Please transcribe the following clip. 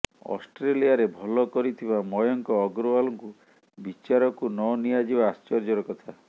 ଅଷ୍ଟ୍ରେଲିଆରେ ଭଲ କରିଥିବା ମୟଙ୍କ ଅଗ୍ରୱାଲଙ୍କୁ ବିଚାରକୁ ନ ନିଆଯିବା ଆଶ୍ଚର୍ଯ୍ୟର କଥା